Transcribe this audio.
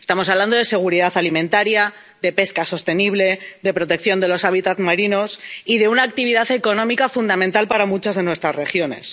Estamos hablando de seguridad alimentaria, de pesca sostenible, de protección de los hábitats marinos y de una actividad económica fundamental para muchas de nuestras regiones.